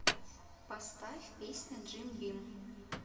поставь песня джим бим